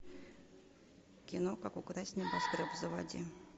кино как украсть небоскреб заводи